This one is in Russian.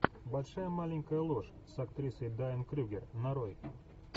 большая маленькая ложь с актрисой дайан крюгер нарой